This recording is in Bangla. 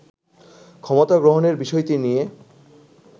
ক্ষমতা গ্রহণের বিষয়টি নিয়ে